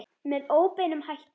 Með óbeinum hætti.